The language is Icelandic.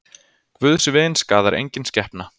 Guðs vin skaðar engin skepna.